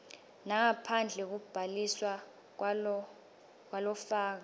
nangabe kubhaliswa kwalofaka